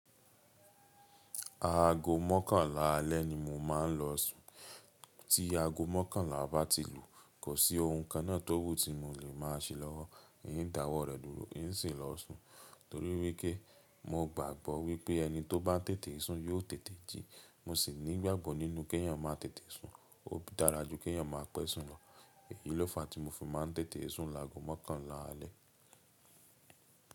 Aago mọ́kànlá alẹ́ ni mo máa ń lọ sùn. Tí aago mọ́kànlá bá ti lù, kò sí ohun kan náà tó wú tí mo lè máa ṣe lọ́wọ́, n dáwọ́ rẹ̀ dúró, ń sì lọ sùn. Torí wípé mo gbàgbọ́ wípé ẹni tó bá tètè sùn yóò tètè jí, mo sì nígbàgbọ nínú kí ènìyàn máa tètè sùn, ó dára ju kí ènìyàn máa pẹ́ sùn lọ. Èyí ló fàá tí mo fi máa ń tètè sùn lágo mọ́kànlá alẹ́.